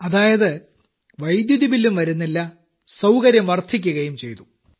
അതായത് വൈദ്യുതിബില്ലും വരുന്നില്ല സൌകര്യം വർദ്ധിക്കുകയും ചെയ്തു